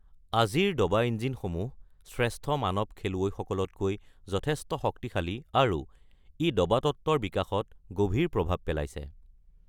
আজিৰ দবা ইঞ্জিনসমূহ শ্ৰেষ্ঠ মানৱ খেলুৱৈসকলতকৈ যথেষ্ট শক্তিশালী আৰু ই দবা তত্ত্বৰ বিকাশত গভীৰ প্ৰভাৱ পেলাইছে।